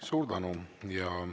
Suur tänu!